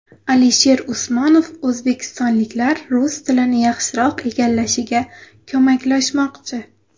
Alisher Usmonov o‘zbekistonliklar rus tilini yaxshiroq egallashiga ko‘maklashmoqchi .